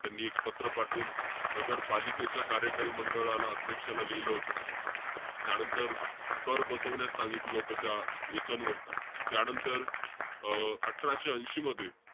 त्यांनी एक पात्र पाठवून, नगरपालिकेच्या कार्यकारी मंडळाला, अध्यक्षाला लिहिलं होतं. त्यानंतर, कर बसवण्यास सांगितलं होतं त्या याच्यांवरती. त्यानंतर अं अठराशे ऐशी मध्ये,